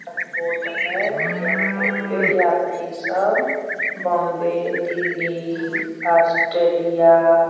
airport है airport पे यात्री सब बॉम्बे दिल्ली ऑस्ट्रेलिया --